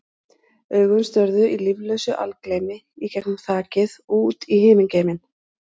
Augun störðu í líflausu algleymi í gegnum þakið og út í himingeiminn.